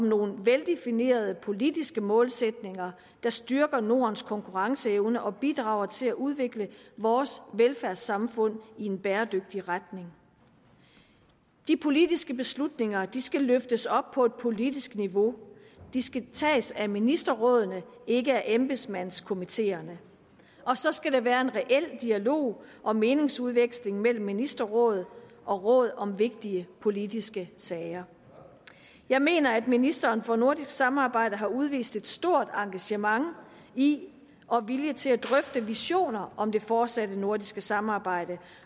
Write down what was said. nogle veldefinerede politiske målsætninger der styrker nordens konkurrenceevne og bidrager til at udvikle vores velfærdssamfund i en bæredygtig retning de politiske beslutninger skal løftes op på et politisk niveau de skal tages af ministerrådet ikke af embedsmandskomiteerne og så skal der være en reel dialog og meningsudveksling mellem ministerrådet og rådet om vigtige politiske sager jeg mener at ministeren for nordisk samarbejde har udvist et stort engagement i og vilje til at drøfte visioner om det fortsatte nordiske samarbejde